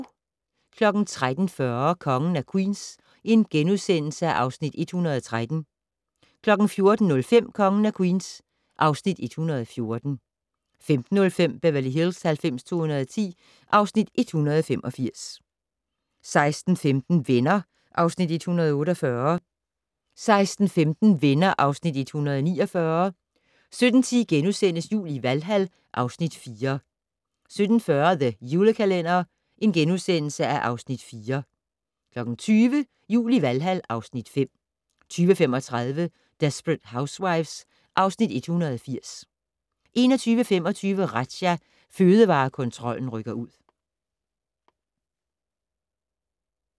13:40: Kongen af Queens (Afs. 113)* 14:05: Kongen af Queens (Afs. 114) 15:05: Beverly Hills 90210 (Afs. 185) 16:15: Venner (Afs. 148) 16:45: Venner (Afs. 149) 17:10: Jul i Valhal (Afs. 4)* 17:40: The Julekalender (Afs. 4)* 20:00: Jul i Valhal (Afs. 5) 20:35: Desperate Housewives (Afs. 180) 21:25: Razzia - Fødevarekontrollen rykker ud